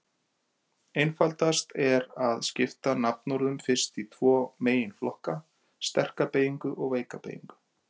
Einfaldast er að skipta nafnorðum fyrst í tvo meginflokka: sterka beygingu og veika beygingu.